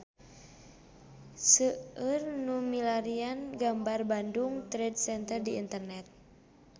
Seueur nu milarian gambar Bandung Trade Center di internet